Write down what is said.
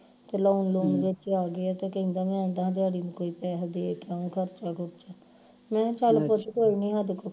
ਤੇ loan loan ਵਿਚ ਆ ਗਿਆ ਤੇ ਕਹਿੰਦਾ ਮੈਂ ਡੈਡੀ ਨੂੰ ਕੋਈ ਪੈਹੇ ਦੇ ਕੇ ਆਉਗਾ ਖਰਚਾ ਖੁਰਚਾ ਮੈਂ ਚੱਲ ਕੁਛ ਕੋਈ ਨੀ